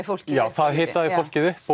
fólkið já það hitaði fólkið upp